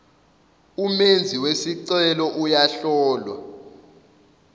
umenzi wesicelo uyahlolwa